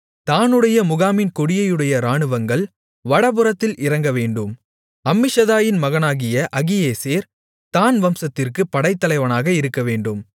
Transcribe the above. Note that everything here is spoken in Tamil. தாணுடைய முகாமின் கொடியையுடைய இராணுவங்கள் வடபுறத்தில் இறங்கவேண்டும் அம்மிஷதாயின் மகனாகிய அகியேசேர் தாண் வம்சத்திற்குப் படைத்தலைவனாக இருக்கவேண்டும்